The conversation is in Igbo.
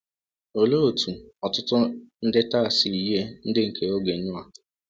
Olee otú ọtụtụ ndị taa si yie ndị nke oge Noa?